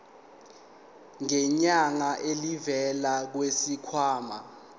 ngenyanga elivela kwisikhwama